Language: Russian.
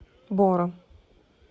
бором